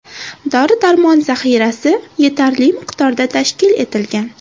Dori-darmon zaxirasi yetarli miqdorda tashkil etilgan.